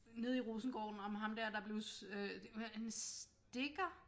Nede i Rosengården om ham dér der blev øh en stikker?